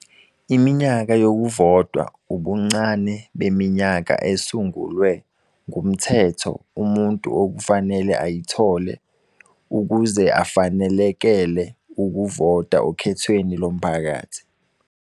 Iminyaka yokuvota ubuncane beminyaka esungulwe ngumthetho umuntu okufanele ayithole ukuze afanelekele ukuvota okhethweni lomphakathi.